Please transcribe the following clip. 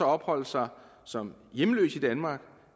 opholde sig som hjemløse i danmark